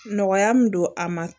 Nɔgɔya min don a ma